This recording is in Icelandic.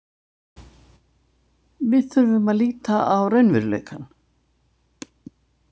Við þurfum að líta á raunveruleikann.